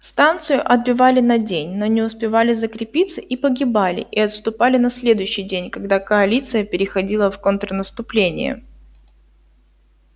станцию отбивали на день но не успевали закрепиться и погибали и отступали на следующий день когда коалиция переходила в контрнаступление